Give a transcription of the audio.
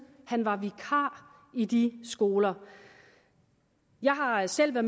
han var vikar i de skoler jeg har selv